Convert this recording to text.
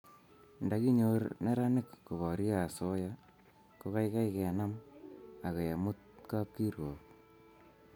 nda kinyor neranik koporie asoya ko kaikai kenam akoi kemut kapkirwog